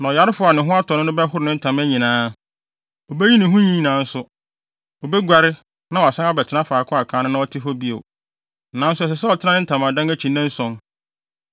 “Na ɔyarefo a ne ho atɔ no no bɛhoro ne ntama nyinaa. Obeyi ne ho nwi nyinaa nso. Obeguare na wasan abɛtena faako a kan no na ɔte hɔ no bio; nanso ɛsɛ sɛ ɔtena ne ntamadan akyi nnanson.